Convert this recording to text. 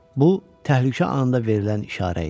Bu təhlükə anında verilən işarə idi.